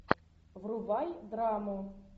врубай драму